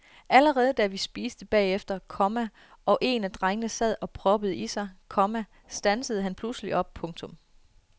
Allerede da vi spiste bagefter, komma og en af drengene sad og proppede i sig, komma standsede han pludselig op. punktum